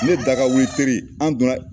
Ne daga wili teri an don na